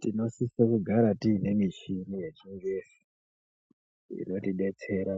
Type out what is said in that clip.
Tinosise kugara tiine michini yechingezi inotidetsera.